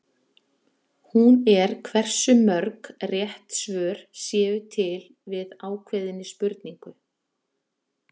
Hún er hversu mörg rétt svör séu til við ákveðinni spurningu.